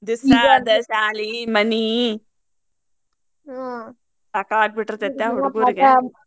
ಬಿಸ್ಲಾಗ ಸಾಲಿ ಮನಿ ಸಾಕಾಗಿ ಬಿಟ್ಟಿರ್ತೇತ್ರಾ